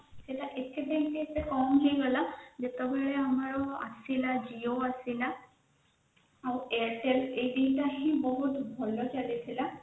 ସେଇଟା ଏଥିପାଇଁ ଏତେ common ହେଇଗଲା ଯେତେବେଳେ ଆସିଲା ଆମର ଜିଓ ଆସିଲା ଆଉ airtel ଏଇଦିନଟା ହି ବହୁତ ଭଲ ଚାଲିଥିଲା